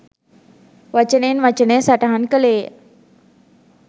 වචනයෙන් වචනය සටහන් කළේය